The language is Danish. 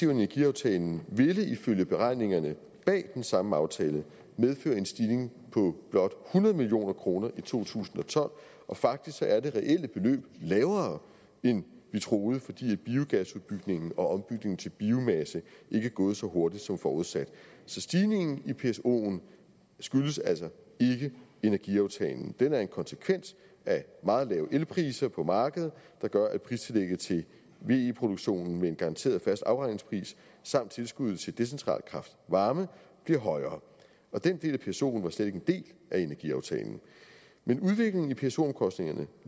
i energiaftalen ville ifølge beregningerne bag den samme aftale medføre en stigning på blot hundrede million kroner i to tusind og tolv og faktisk er det reelle beløb lavere end vi troede fordi biogasudbygningen og ombygningen til biomasse ikke er gået så hurtigt som forudsat så stigningen i psoen skyldes altså ikke energiaftalen den er en konsekvens af meget lave elpriser på markedet der gør at pristillægget til ve produktionen med en garanteret fast afregningspris samt tilskuddet til decentral kraft varme bliver højere den del af psoen var slet ikke en del af energiaftalen men udviklingen i pso omkostningerne